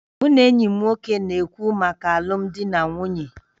Mụ na enyi m nwoke na-ekwu maka alụmdi na nwunye